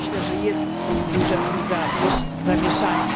Myślę, że jest duże z tym zamieszanie.